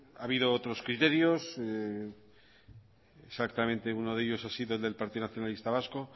ha habido otros criterios exactamente uno de ellos ha sido del partido nacionalista vasco